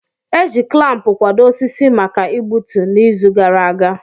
E ji klampu kwado osisi maka igbutu, n'izu gara aga.